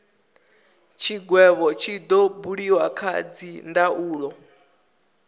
tshigwevho tshi do buliwa kha dzindaulo